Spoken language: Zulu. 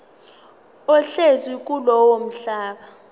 ohlezi kulowo mhlaba